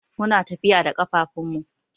Muna tafiya da kafafun mu.